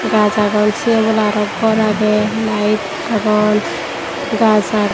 gaj agong say obola aro gor agey layet agon gaj agon.